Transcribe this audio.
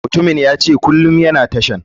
Mutumin yace kulum yana tashan.